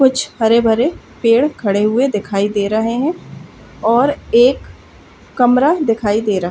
कुछ हरे-भरे पेड़ खड़े हुए दिखाई दे रहे हैं और एक कमरा दिखाई दे रहा --